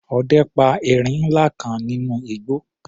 Ọdẹ pa erin ńlá kan nínú igbó.